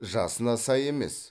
жасына сай емес